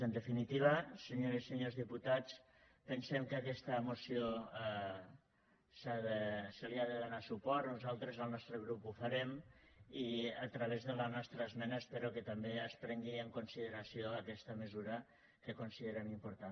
en definitiva senyores i senyors diputats pensem que a aquesta moció s’hi ha de donar suport nosaltres el nostre grup ho farem i a través de la nostra esmena espero que també es prengui en consideració aquesta mesura que considerem important